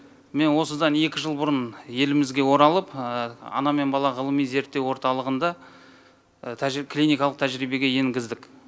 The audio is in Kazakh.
мен осыдан екі жыл бұрын елімізге оралып ана мен бала ғылыми зерттеу орталығында клиникалық тәжірибеге енгіздік